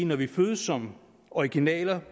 når vi fødes som originaler